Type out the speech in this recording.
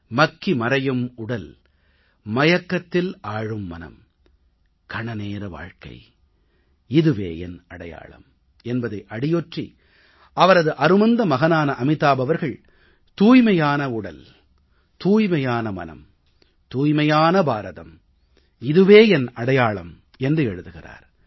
மக்கி மறையும் உடல் மயக்கத்தில் ஆழும் மனம் கணநேர வாழ்க்கை இதுவே என் அடையாளம் என்பதை அடியொற்றி அவரது அருமந்த மகனான அமிதாப் அவர்கள் தூய்மையான உடல் தூய்மையான மனம் தூய்மையான பாரதம் இதுவே என் அடையாளம் என்று எழுதுகிறார்